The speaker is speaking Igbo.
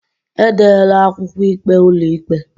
Edela akwụkwọ ikpe ụlọikpe